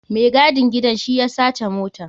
Mai gadin gidan shi ya saci motan.